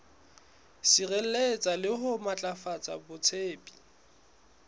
sireletsa le ho matlafatsa botsebi